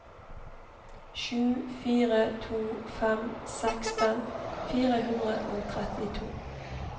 sju fire to fem seksten fire hundre og trettito